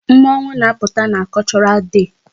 Mmọnwụ na-apụta na Cultural Day.